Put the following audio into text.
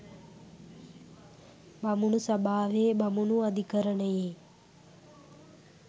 බමුණු සභාවේ බමුණු අධිකරණයේ